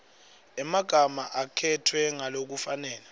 emagama akhetfwe ngalokufanele